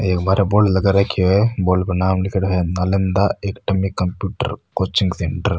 ओ एक बाहरे बोर्ड लगा रखो है बोर्ड पर नाम लीखेड़ो है Nalanda academy computer coaching centre.